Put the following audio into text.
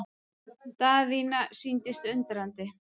Daðína sýndist undrandi.